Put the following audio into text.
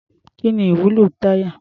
Kí ni ìwúlò táyà?